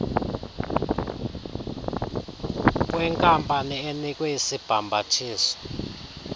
kwenkampani enikwe isibhambathiso